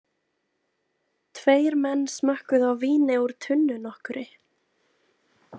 Tveir menn smökkuðu á víni úr tunnu nokkurri.